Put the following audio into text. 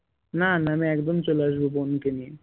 না না আমি একদম চলে আসব বোনকে নিয়ে